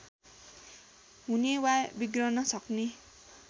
हुने वा बिग्रन सक्ने